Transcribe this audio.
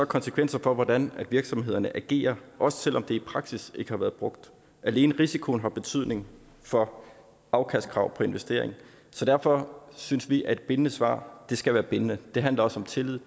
konsekvenser for hvordan virksomhederne agerer også selv om det i praksis ikke har været brugt alene risikoen har betydning for afkastkrav investering så derfor synes vi at et bindende svar skal være bindende det handler om tillid